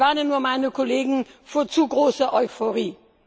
Ich warne nur meine Kollegen vor zu großer Euphorie!